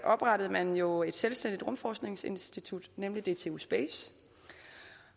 oprettede man jo et selvstændigt rumforskningsinstitut nemlig dtu space